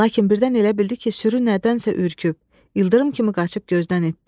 Lakin birdən elə bildi ki, sürü nədənsə ürküb, ildırım kimi qaçıb gözdən itdi.